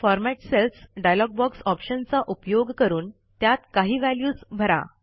format cells dialog box ऑप्शनचा उपयोग करून त्यात काही व्हॅल्यूज भरा